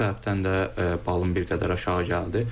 Bu səbəbdən də balım bir qədər aşağı gəldi.